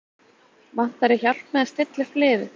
Vantar þig hjálp með að stilla upp liðið?